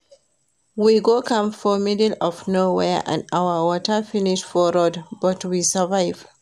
We go camp for middle of nowhere and our water finish for road but we survive